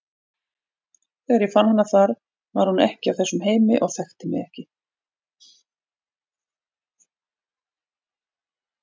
Þegar ég fann hana þar var hún ekki af þessum heimi og þekkti mig ekki.